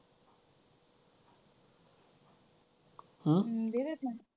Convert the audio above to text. देत्यात ना.